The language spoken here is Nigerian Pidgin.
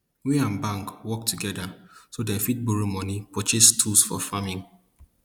we and bank work together so dem fit borrow money purchase tools for farming